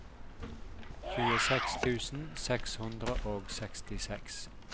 tjueseks tusen seks hundre og sekstiseks